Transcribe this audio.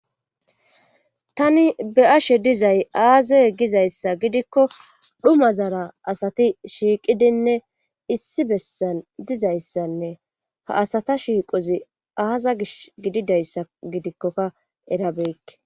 tani be'ashe dizay aaze gizayssa gidikko dhuma zara asati shiiqidinne issi bessan dizayssanne ha asata shiiqozi aaza gish gididayssa gidikkoka era beykke